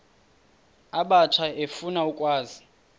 abatsha efuna ukwazi